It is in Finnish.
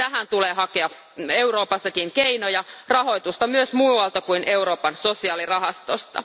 Tähän tulee hakea Euroopassakin keinoja, rahoitusta myös muualta kuin Euroopan sosiaalirahastosta.